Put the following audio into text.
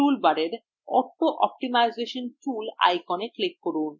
টুলবারের auto optimisation tool icon click করুন